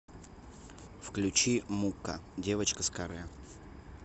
включи мукка девочка с каре